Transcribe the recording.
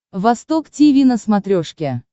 восток тиви на смотрешке